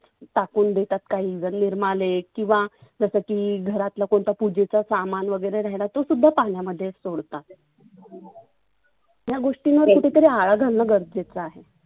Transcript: टाकुन देतात काही निर्मालय किंवा जसं की घरात लपून तपुन पुजेच सामान वगैरे राहिलेलं तो सुद्धा पाण्यामध्ये सोडतात. ह्या गोष्टींवर कुठे तरी आळा घालनं गरजेच आहे.